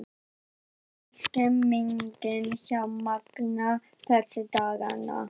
Hvernig er stemningin hjá Magna þessa dagana?